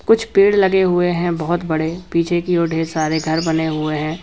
कुछ पेड़ लगे हुए हैं बहुत बड़े पीछे की ओर देर सारे घर बने हुए हैं।